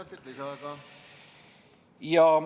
Kolm minutit lisaaega.